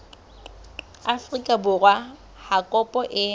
afrika borwa ha kopo e